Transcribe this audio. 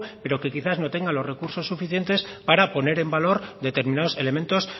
pero que quizás no tengan los recursos suficientes para poner en valor determinados elementos